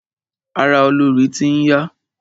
Ara olorì ti n ya.